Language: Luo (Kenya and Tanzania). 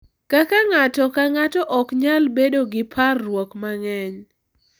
Kaka ng’ato ka ng’ato ok nyal bedo gi parruok mang’eny